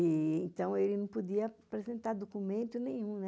Então, ele não podia apresentar documento nenhum.